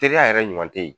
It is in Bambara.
Teliya yɛrɛ ɲuman te ye